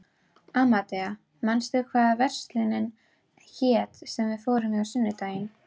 Amadea, manstu hvað verslunin hét sem við fórum í á sunnudaginn?